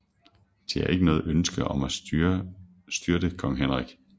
De havde ikke noget ønske om at styrte kong Henrik